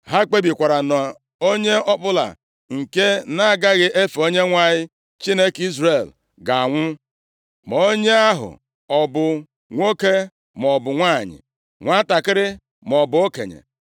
Ha kpebikwara na onye ọbụla nke na-agaghị efe Onyenwe anyị, Chineke Izrel ga-anwụ, ma onye ahụ ọ bụ nwoke maọbụ nwanyị, nwantakịrị maọbụ okenye.